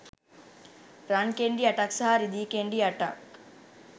රන් කෙණ්ඩි අටක් සහ රිදී කෙණ්ඩි අටක්